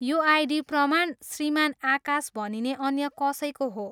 यो आइडी प्रमाण श्रीमान आकाश भनिने अन्य कसैको हो।